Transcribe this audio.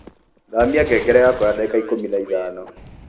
thamia ngengere yakwa ya ndagĩka ikũmi na ithano